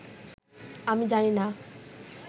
আমি জানিনা